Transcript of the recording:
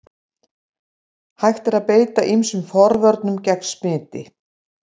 Hægt er að beita ýmsum forvörnum gegn smiti.